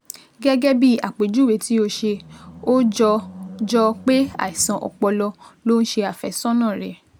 gẹ́gẹ́ bí àpèjúwe tí o ṣe, ó jọ jọ pé àìsàn ọpọlọ ló ń ṣe àfẹ́sọ́nà rẹ